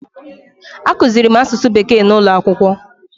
A kụziirim asụsụ bekee n'ụlọ akwụkwọ